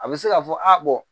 A bɛ se k'a fɔ a